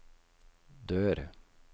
dør